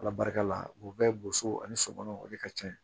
Ala barika la u bɛɛ boso ani sokɔnɔ o de ka ca ye